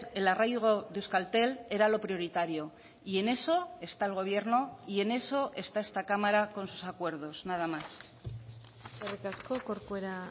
el arraigo de euskaltel era lo prioritario y en eso está el gobierno y en eso está esta cámara con sus acuerdos nada más eskerrik asko corcuera